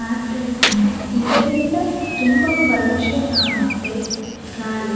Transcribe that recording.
ಆದರಿಂದ ಇದರಿಂದ ತುಂಬಾ ಪೊಲ್ಲ್ಯೂಷನ್ ಆಗುತ್ತೆ ಗಾಳಿ.